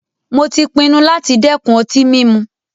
Mó tí pinnu láti dẹ́kun ọtí mímu.